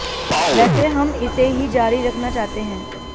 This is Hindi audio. वैसे हम इसे ही जारी रखना चाहते हैं